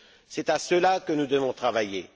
C'est à cela que nous devons travailler.